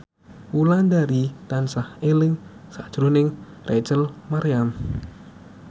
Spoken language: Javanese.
Wulandari tansah eling sakjroning Rachel Maryam